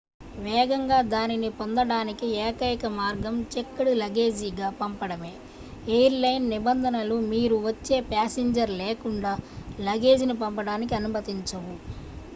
వేగంగా దానిని పొందడానికి ఏకైక మార్గం చెక్డ్ లగేజీగా పంపడమే ఎయిర్ లైన్ నిబంధనలు మీరు వచ్చే ప్యాసింజర్ లేకుండా లగేజీని పంపడానికి అనుమతించవు